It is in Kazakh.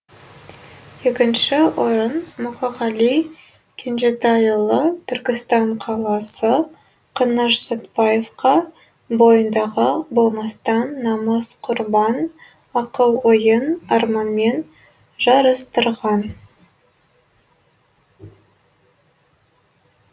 екінші орын мұқағали кенжетайұлы түркістан қаласы қаныш сәтбаевқа бойындағы болмастан намыс құрбан ақыл ойын арманмен жарыстырған